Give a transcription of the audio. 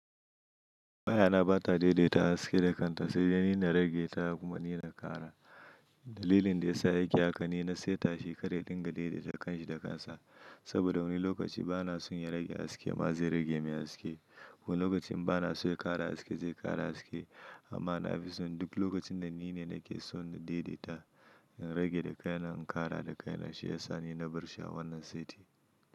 Wayana ba ta daidaita haske da kanta sai da ni na rage ta ko ni na ƙara. Dalilin da ya sa yake haka ni na saita shi kada ya dinga daidaita kanshi da kansa. Saboda wani lokaci bana so ya rage haske amma zai rage min haske. Wani lokacin bana so ya ƙara haske zai ƙara haske. Amma na fi so duk lokacin da ni ne nake so na daidaita, in rage da kaina, in ƙara da kaina shi ya sa ni na bar shi a wannan saiti.